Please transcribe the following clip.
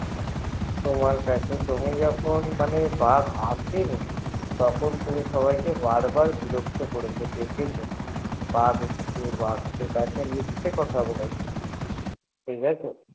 তুমি যখন বাঘ আসছে তখন তুমি সবাই কে বিরক্ত করেছ বলেছ বাঘ এসেছে বাঘ এসেছে মিথ্যে কথা বলেছ ঠিকাছে